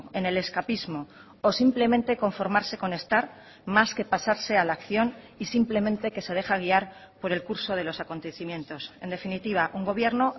en el escapismo o simplemente conformarse con estar más que pasarse a la acción y simplemente que se deja guiar por el curso de los acontecimientos en definitiva un gobierno